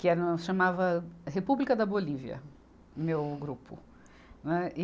Que era, chamava República da Bolívia, meu grupo. né, e